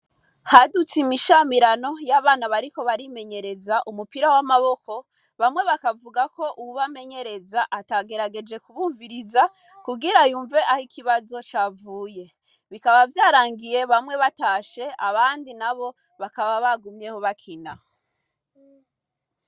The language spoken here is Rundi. Hadutse imishamirano y'abana bariko barimenyereza umupira w'amaboko, bamwe bakavuga ko uwubamenuereza atagerageje kubumviza kugira yumve ikibazo aho cavuye. Vyarangiye bamwe natashe abandi nabo bakaba bagumyeho bakina.